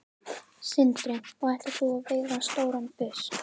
Sindri: Og ætlar þú að veiða stóran fisk?